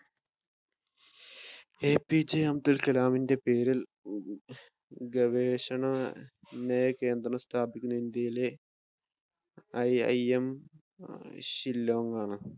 APJ Abdul കലാമിന്റെ പേരിൽ ഗവേഷണകേന്ദ്രം സ്ഥാപിക്കുന്ന ഇന്ത്യയിലെ IIM ഷില്ലോങ് ആണ്.